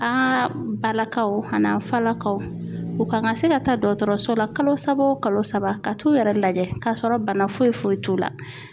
An ka balakaw a n'an falakaw u ka kan ka se ka taa dɔkɔtɔrɔso la kalo saba o kalo saba ka t'u yɛrɛ lajɛ, k'a sɔrɔ bana foyi foyi t'u la